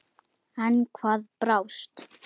En hvað brást?